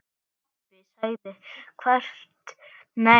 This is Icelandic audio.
En pabbi sagði þvert nei.